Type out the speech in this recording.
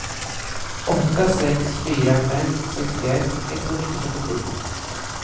åtta sex fyra fem sextioett etthundratrettiosju